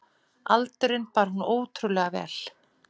Aldurinn bar hún ótrúlega vel.